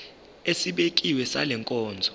esibekiwe sale nkonzo